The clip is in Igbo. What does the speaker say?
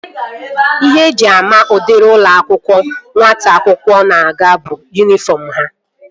Ihe eji ama udiri ụlọ akwụkwọ nwata akwụkwọ na-aga bụ yunifọm ha